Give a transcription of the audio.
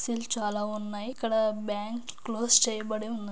చాలా ఉన్నాయి. ఇక్కడ బ్యాంక్ క్లోజ్ చేయబడి ఉన్నది.